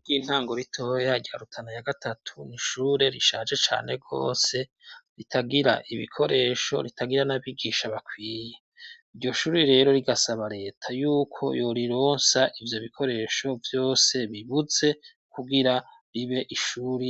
Iry'intango ritoya rya Rutana ya gatatu nishure rishaje cane kose ritagira ibikoresho ritagira n'abigisha bakwiye iryo shuri rero rigasaba leta yuko yorironsa ibyo bikoresho byose bibutse kugira ribe ishuri